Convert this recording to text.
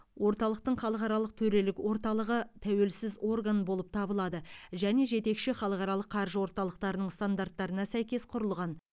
орталықтың халықаралық төрелік орталығы тәуелсіз орган болып табылады және жетекші халықаралық қаржы орталықтарының стандарттарына сәйкес құрылған